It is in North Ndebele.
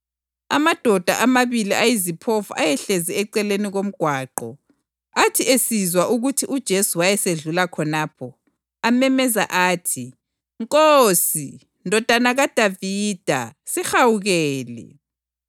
Amadoda amabili ayiziphofu ayehlezi eceleni komgwaqo athi esizwa ukuthi uJesu wayesedlula khonapho amemeza athi, “Nkosi, Ndodana kaDavida, sihawukele!”